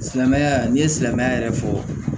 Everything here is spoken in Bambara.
Silamɛya ni ye silamɛya yɛrɛ fɔ